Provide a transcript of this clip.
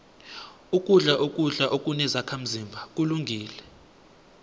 ukudla ukudla okunezakhazimba kulungile